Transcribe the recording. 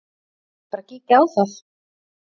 Eigum við ekki bara að kíkja á það?